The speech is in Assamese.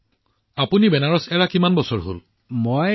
প্ৰধানমন্ত্ৰীঃ তেন্তে আপুনি বেনাৰস এৰি যোৱাৰ কিমান বছৰ পাৰ হৈ গল